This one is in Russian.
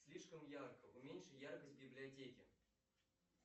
слишком ярко уменьши яркость в библиотеке